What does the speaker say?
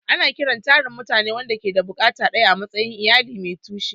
Ana kiran tarin mutane waɗanda ke da buƙatu ɗaya a matsayin "iyali mai tushe."